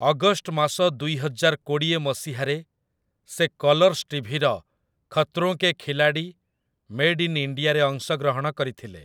August ମାସ ଦୁଇହଜାର କୋଡ଼ିଏ ମସିହାରେ ସେ କଲର୍ସ ଟିଭିର ଖତରୋଁ କେ ଖିଲାଡ଼ି ମେଡ୍ ଇନ୍ ଇଣ୍ଡିଆରେ ଅଂଶଗ୍ରହଣ କରିଥିଲେ ।